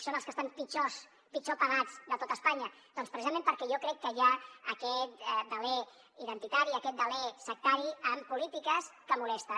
són els que estan pitjor pagats de tot espanya doncs precisament perquè jo crec que hi ha aquest deler identitari aquest deler sectari en polítiques que molesten